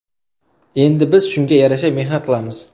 Endi biz shunga yarasha mehnat qilamiz.